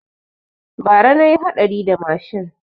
Bara na yi haɗari da mashin